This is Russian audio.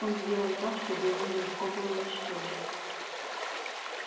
он сделан так чтобы его нелегко было уничтожить